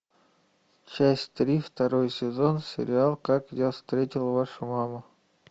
часть три второй сезон сериал как я встретил вашу маму